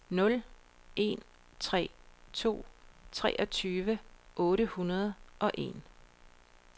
nul en tre to treogtyve otte hundrede og en